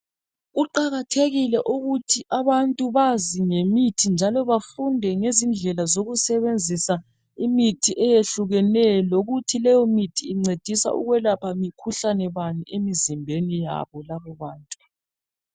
Kuqakathekile ukuthi abantu bazi ngemithi njalo bafunde ngezindlela zokuyisebenzisa imithi eyehlukeneyo lokuthi leyomithi incedisa ukwelapha mikhuhlane bani emzimbeni yabo labobantu.